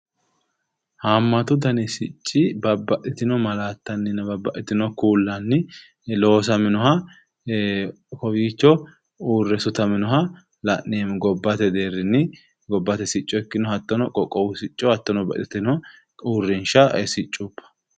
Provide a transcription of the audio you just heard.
haammatu dani sicci babbxxitino malaattanninna babbxxitino kuullanni loosaminoha kowiicho uurre sutaminoha la'neemmo gobbate deerrini gobbate sicco ikkino hattono qoqqowu sicco hattono babbxxitino uurrinshsha siccuba.